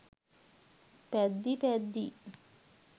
පැද්දී පැද්දී